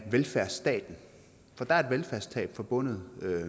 velfærdsstaten for der er et velfærdstab forbundet